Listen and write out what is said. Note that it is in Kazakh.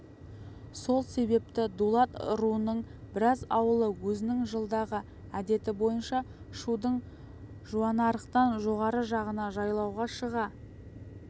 сол себепті дулат руының біраз ауылы өзінің жылдағы әдеті бойынша шудың жуанарықтан жоғарғы жағына жайлауға шыға